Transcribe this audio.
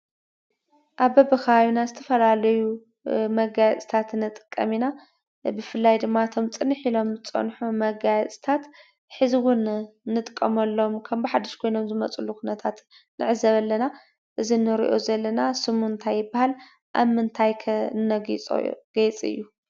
ኣብ በብኸባቢና ዝተፈላለዩ መጋየፅታት ንጥቀም ኢና፡፡ ፍላይ ድማ እቶም ፅንሕ ኢሎም ዝፀንሑ መጋየፅታት ሕዚ እውን ንጥቀመሎም ከም ብሓዱሽ ኮይኖም ዝመፁሉ ኩነታት ንዕዘብ ኣለና፡፡ እዚ ንሪኦ ዘለና ስሙ እንታይ ይበሃል? ኣብ ምንታይ ከ ነግይፆ ገይፂ እዩ?